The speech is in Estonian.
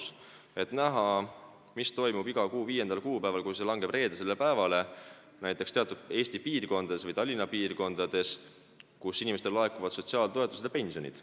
Sa saad näha, mis toimub iga kuu viiendal kuupäeval, kui see langeb reedesele päevale, näiteks Eesti või Tallinna teatud piirkondades, kui inimestele laekuvad sotsiaaltoetused ja pensionid.